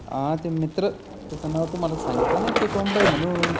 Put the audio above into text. हं ते मित्र त्याचं नाव तुम्हाला सांगितलं नाही का ते कोंबड आहे म्हणुन.